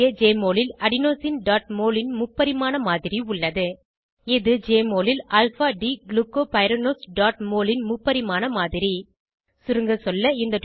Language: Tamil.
இங்கே ஜெஎம்ஒஎல் ல் adenosineமோல் ன் முப்பரிமாண மாதிரி உள்ளது இது ஜெஎம்ஒஎல் ல் alpha d glucopyranoseமோல் ன் முப்பரிமாண மாதிரி சுருங்கசொல்ல